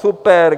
Super.